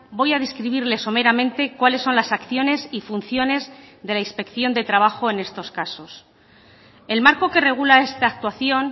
voy a describirle someramente cuáles son las acciones y funciones de la inspección de trabajo en estos casos el marco que regula esta actuación